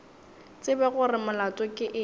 tsebe gore molato ke eng